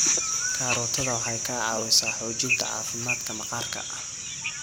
Karootada waxay ka caawisaa xoojinta caafimaadka maqaarka.